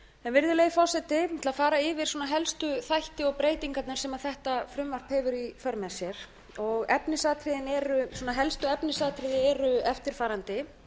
uppi virðulegi forseti ég ætla að fara yfir helstu þætti og breytingar sem þetta frumvarp hefur í för með sér efnisatriðin eru svona helstu efnisatriði eru eftirfarandi